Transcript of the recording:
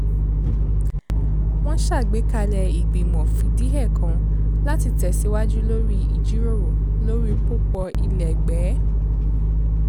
wọ́n ṣàgbékalẹ̀ ìgbìmọ̀ fìdíhẹẹ́ kan láti tẹ̀síwaju lórí ìjíròrò lórí pópọ̀ ilẹ́gbẹ̀ẹ́